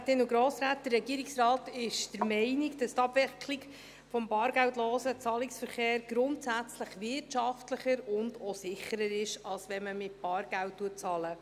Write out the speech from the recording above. Der Regierungsrat ist der Meinung, dass die Abwicklung des bargeldlosen Zahlungsverkehrs grundsätzlich wirtschaftlicher und auch sicherer ist, als wenn man mit Bargeld bezahlt.